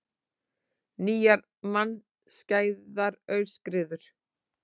Nýjar mannskæðar aurskriður